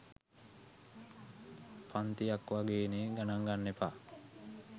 පන්තියක් වගේනෙ ගනන් ගන්න එපා.